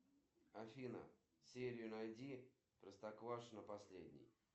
сбер переключить на канал телевидения пятый канал